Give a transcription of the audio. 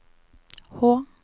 H